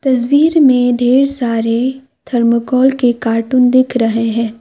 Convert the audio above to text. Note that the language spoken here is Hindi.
तस्वीर में ढेर सारे थर्मोकोल के कार्टून दिख रहे है।